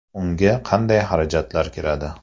Unga qanday xarajatlar kiradi?